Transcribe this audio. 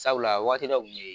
Sabula a waati dɔ kun ye